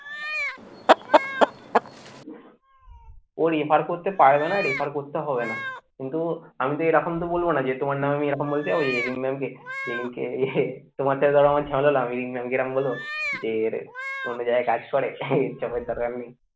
ও refer করতে পারবে না, refer করতে হবে না কিন্তু আমি তো এরকম তো বলব না যে তোমার নামে আমি এরকম বলতে যাব যে রিম mam কে যেদিনকে তোমার সাথে ধরো আমার ঝামেলা, আমি রিম mam কে এরম বলব? যে অন্য জায়গায় কাজ করে ইচ্ছা করে তারপর আমি